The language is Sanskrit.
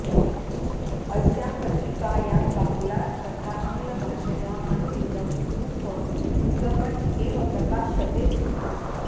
अस्यां पत्रिकायां बाङ्गला तथा आङ्ग्लभाषया अनुदितं रूपं युगपत् एव् प्रकाश्यते स्म